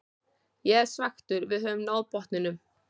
Ég er svekktur, við höfum náð botninum.